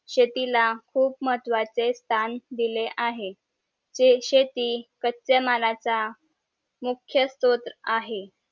शेतीला खूप महत्वाचे स्थान दिला आहे ते शेती कच्यामालाचा मुख्य स्रोत आहे